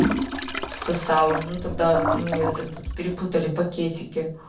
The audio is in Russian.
сосала ну тогда мне этот перепутали пакетики